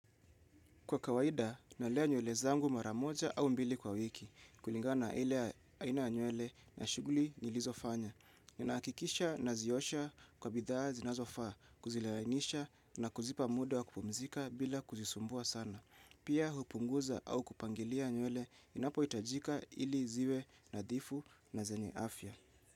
Kwa kawaida, nalea nywele zangu mara moja au mbili kwa wiki, kulingana na ile aina nywele na shughuli nilizofanya. Ninahakikisha naziosha kwa bidhaa zinazofaa, kuzilainisha na kuzipa muda wa kupumzika bila kuzisumbua sana. Pia hupunguza au kupangilia nywele inapohitajika ili ziwe nadhifu na zenye afya.